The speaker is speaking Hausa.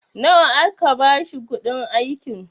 nawa aka bashi kuɗin aikin?